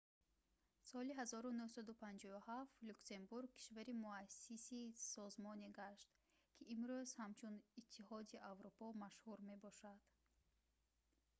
соли 1957 люксембург кишвари муассиси созмоне гашт ки имрӯз ҳамчун иттиҳоди аврупо машҳур мебошад